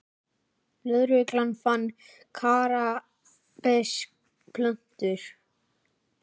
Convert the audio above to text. Lögregla fann kannabisplöntur